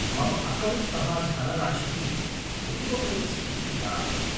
मम अकौण्ट्तः धनराशिः पूर्वमेव स्वीकृता अस्ति।